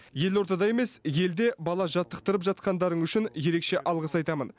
елордада емес елде бала жаттықтырып жатқандарың үшін ерекше алғыс айтамын